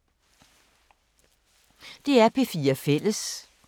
DR P4 Fælles